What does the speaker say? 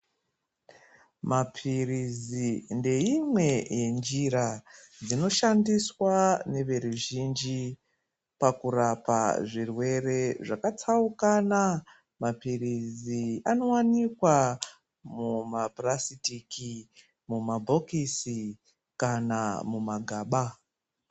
Maphirizi ndeimwe yenjira dzinoshandiswa ngeveruzhinji pakurapa zvirwere zvakatsaukana. Maphirizi anowanikwa muma phurasitiki, mumabhokisi, kana mumagaba.